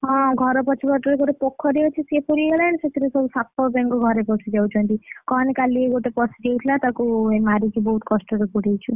ହଁ ଘର ପଛ ପଟେ ଗୋଟେ ପୋଖରୀ ଅଛି, ସିଏ ପୁରିଗଲାଣି ସେଥିରେ ସବୁ ସାପ ସବୁ ଘରେ ପଶିଯାଉଛନ୍ତି, କହନି କାଲି ଗୋଟେ ପଶି ଯାଇଥିଲା ତାକୁ ମାରିକି ବଉହୁତ କଷ୍ଟରେ ପୁରେଇଛୁ,